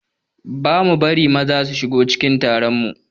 Ba ma bari maza su shigo cikin taron mu